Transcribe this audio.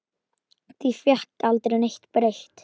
Því fékk aldrei neitt breytt.